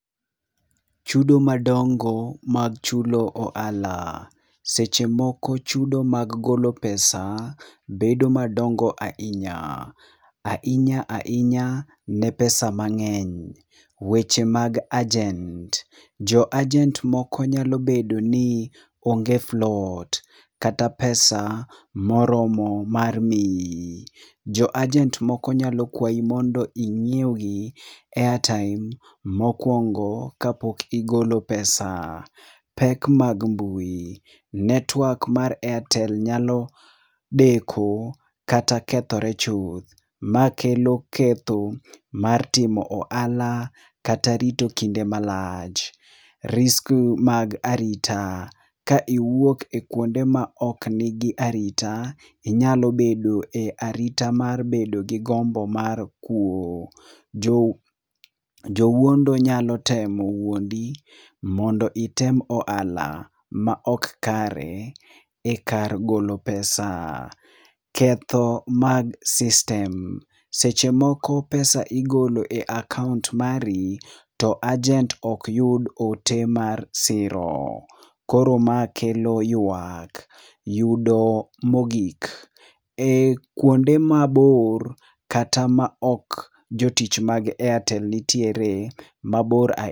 Chudo madongo mag chulo ohala. Seche moko chudo mag golo pesa bedo madongo ahinya. Ahinya ahinya ne pesa mang'eny. Weche mag agent. Jo agent moko nyalo bedo ni onge float kata pesa moromo mar mii. Jo agent moko nyalo kwayi mondo ing'iew gi airtime mokuongo ka pok igolo pesa. Pek mag mbui. Network mar Airtel nyalo deko kata kethore chuth. Ma kelo ketho mar timo ohala kata rito kinde malach. Risk mag arita. Ka iwuok e kuonde ma ok nigi arita, inyalo bedo e arita mar bedo gi gombo mar kwo. Jo wuondo nyalo temo wuondi mondo item ohala ma ok kare e kar golo pesa. Ketho mag system. Seche moko pesa igolo e akaont mari to agent okyud ote mar siro. Koro ma kelo yuak. Yudo mogik. E kuonde mabor kata ma ok jotich mag airtel nitiere mabor ahinya...